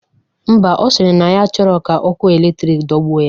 Ḿbà, ọ sịrị na ya achọrọ ka ọkụ eletrik dogbuo ya.